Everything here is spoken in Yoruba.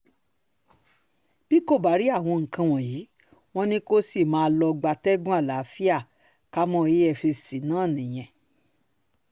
bí kò bá rí àwọn nǹkan wọ̀nyí wọn ni kò sì máa lọ́ọ́ gbatẹ́gùn àlàáfíà káàámọ̀ efcc ná nìyẹn